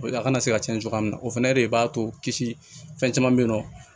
A kana se ka cɛn cogoya min na o fɛnɛ de b'a to kisi fɛn caman bɛ yen nɔ